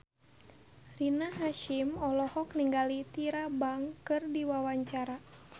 Rina Hasyim olohok ningali Tyra Banks keur diwawancara